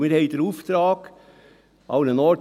Denn wir haben den Auftrag, diese Kosten zu sparen.